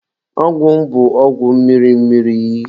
Ọgwụ m bụ ọgwụ mmiri mmiri.